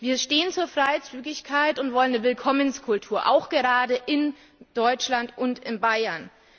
Wir stehen zur Freizügigkeit und wollen eine Willkommenskultur, auch gerade in Deutschland und in Bayern.